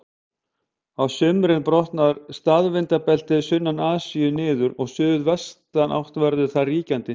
Á sumrin brotnar staðvindabeltið sunnan Asíu niður og suðvestanátt verður þar ríkjandi.